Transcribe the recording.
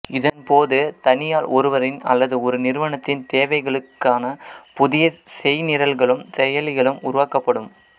இதன்போது தனியாள் ஒருவரின் அல்லது ஒரு நிறுவனத்தின் தேவைகளுக்கமைவான புதிய செய்நிரல்களும் செயலிகளும் உருவாக்கப்படும்